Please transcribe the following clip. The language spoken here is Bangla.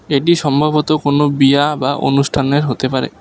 এটি সম্ভবত কোনো বিয়া বা অনুষ্ঠানের হতে পারে।